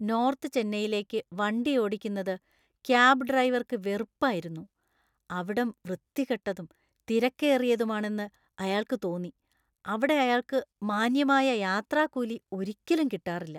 North ചെന്നൈയിലേക്ക് വണ്ടി ഓടിക്കുന്നത് ക്യാബ് ഡ്രൈവർക്ക് വെറുപ്പായിരുന്നു. അവിടം വൃത്തികെട്ടതും തിരക്കേറിയതുമാണെന്ന് അയാൾക്ക് തോന്നി, അവിടെ അയാള്‍ക്ക് മാന്യമായ യാത്രാക്കൂലി ഒരിക്കലും കിട്ടാറില്ല.